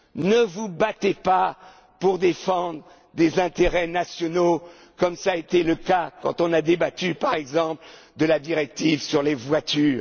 européen. Ne vous battez pas pour défendre des intérêts nationaux, comme cela a été le cas quand nous avons débattu, par exemple, de la directive sur